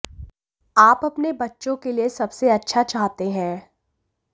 आप अपने बच्चों के लिए सबसे अच्छा चाहते हैं